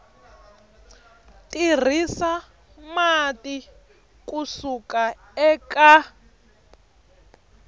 tirhisa mati ku suka eka